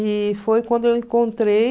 E foi quando eu encontrei